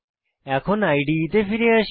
এখন ইদে তে ফিরে আসি